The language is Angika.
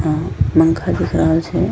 हं पंखा दिख रहल छै।